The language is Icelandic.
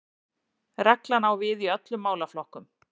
Reglan á við í öllum málaflokkum